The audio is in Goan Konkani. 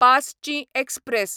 पासचीं एक्सप्रॅस